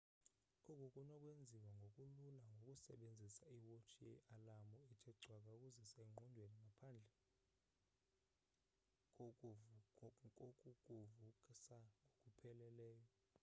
oku kunokwenziwa ngokulula ngokusebenzisa iwotshi ye-alamu ethe cwaka ukuzisa ezingqondweni ngaphandle kokukuvusa ngokupheleleyo